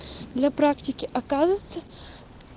для практики оказывается